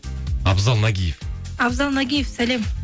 абзал нагиев абзал нагиев сәлем